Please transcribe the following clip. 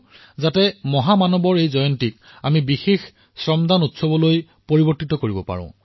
মহাত্মা গান্ধীৰ জয়ন্তীৰ দিনা এক বিশেষ শ্ৰমদানৰ উৎসৱ হিচাপে পৰিগণিত হওক